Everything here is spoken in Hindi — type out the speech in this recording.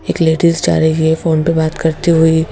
एक लेडीज जा रही है फोन पर बात करती हुई--